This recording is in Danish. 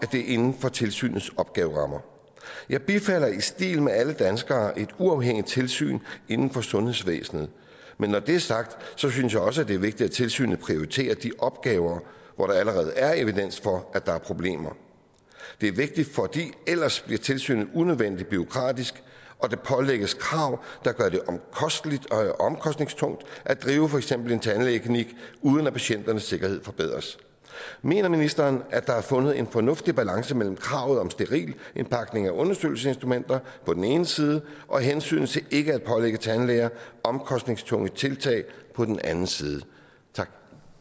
det er inden for tilsynets opgaverammer jeg bifalder i stil med alle danskere et uafhængigt tilsyn inden for sundhedsvæsenet men når det er sagt synes jeg også det er vigtigt at tilsynet prioriterer de opgaver hvor der allerede er evidens for at der er problemer det er vigtigt for ellers bliver tilsynet unødvendigt bureaukratisk og der pålægges krav der gør det omkostningstungt at drive for eksempel en tandlægeklinik uden at patienternes sikkerhed forbedres mener ministeren at der er fundet en fornuftig balance mellem kravet om sterilindpakning af undersøgelsesinstrumenter på den ene side og hensynet til ikke at pålægge tandlæger omkostningstunge tiltag på den anden side tak